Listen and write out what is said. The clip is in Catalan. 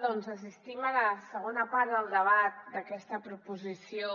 doncs assistim a la segona part del debat d’aquesta proposició